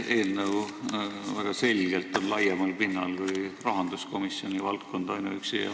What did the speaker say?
See eelnõu on väga selgelt laiemal pinnal kui ainuüksi rahanduskomisjoni valdkond.